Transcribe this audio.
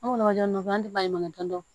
An kɔni b'a dɔn an tɛ baɲumankɛ dɔ